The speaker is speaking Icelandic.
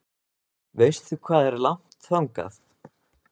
Veistu hvað er langt þangað?